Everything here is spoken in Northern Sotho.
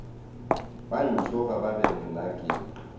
ba tšhoga ba re nnake